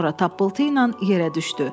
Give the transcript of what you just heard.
Sonra tappıltı ilə yerə düşdü.